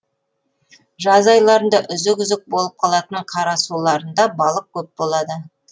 жаз айларында үзік үзік болып қалатын қарасуларында балық көп болады